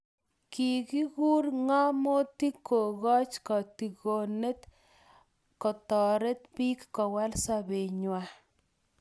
Kikur ngamotik kokoch kotigonet kotoret bik Kowal sobengwai